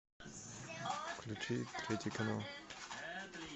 включи третий канал